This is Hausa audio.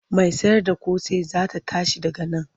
Mai sayarda ƙosai za ta tashi daga nan.